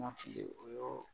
Ma fili o yɔrɔ